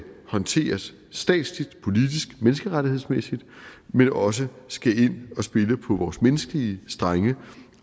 håndteres statsligt politisk og menneskerettighedsmæssigt men også skal ind og spille på vores menneskelige strenge